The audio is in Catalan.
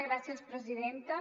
gràcies presidenta